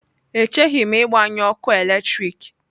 Echeghị m ịgbanyụ ọkụ eletrik.